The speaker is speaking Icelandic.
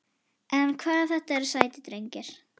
En hvað þetta eru sætir drengir.